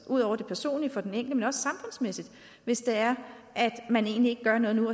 ud over det personlige for den enkelte hvis det er at man egentlig ikke gør noget nu